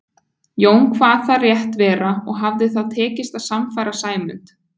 Jón kvað það rétt vera og hafði þá tekist að sannfæra Sæmund.